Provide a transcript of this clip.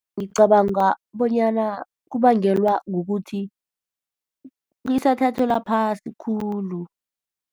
Ngicabanga bonyana kubangelwa kukuthi isathathelwa phasi khulu.